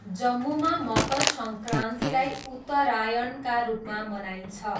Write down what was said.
जम्मूमा मकर सङ्क्रान्तिलाई 'उत्तरायण' का रूपमा मनाइन्छ।